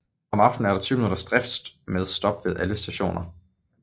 Om aftenen er der 20 minutters drift med stop ved alle stationer